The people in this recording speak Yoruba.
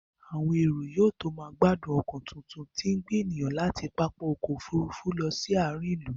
Àwọn èrò yóò tó máa gbádùn ọkọ tuntun tí ń gbé ènìyàn láti pápá ọkọ̀ Òfurufú lọ sí àárín ìlú